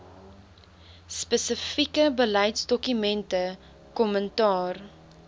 spesifieke beleidsdokumente kommentaar